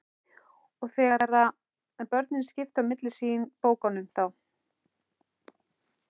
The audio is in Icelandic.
Og þegar börnin skiptu á milli sín bókunum þá